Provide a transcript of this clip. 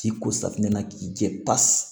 K'i ko safunɛ na k'i jɛ pasi